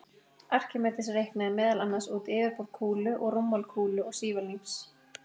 Arkímedes reiknaði meðal annars út yfirborð kúlu og rúmmál kúlu og sívalnings.